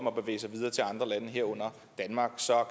at bevæge sig videre til andre lande herunder danmark så